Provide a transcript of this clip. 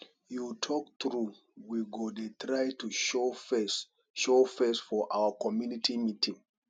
you talk true we go dey try to show face show face for our community meeting